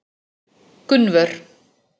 Gunnvör